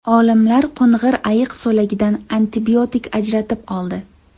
Olimlar qo‘ng‘ir ayiq so‘lagidan antibiotik ajratib oldi.